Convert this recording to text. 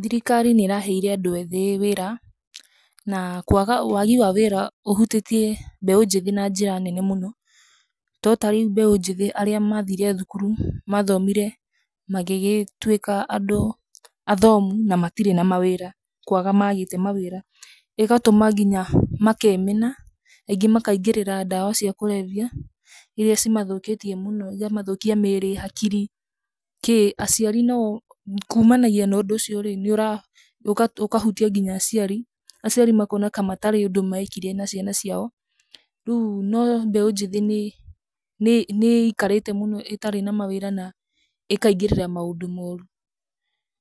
Thirikari nĩ ĩ raheire andũ ethĩĩ wĩra, na kwaga wagi wa wĩra ũhutĩtie mbeũ njĩthĩ na njĩra nene mũno, to tarĩu mbeũ njĩthĩ arĩa mathire thukuru, mathomire magĩgĩtwĩka andũ athomu na matirĩ na mawĩra, nĩ kwaga magĩte mawĩra, ĩgatũma nginya makemena, angĩ ma kaingĩrĩra ndawa cia kũrebia iria cimathũkĩtie mũno, ikamathokia mĩrĩ, hakiri, kĩĩ, aciari nao kumanagia na ũndũ ũcio rĩ, nĩ ũra, ũkahutia ngina aciari, aciari makona ka hatarĩ ũndũ mekire na ciana ciao, rĩu no mbeũ njĩthĩ nĩ nĩ nĩ ĩkarĩte mũno ĩtarĩ na mawĩra, na ĩkaingĩrĩra maũndũ moru,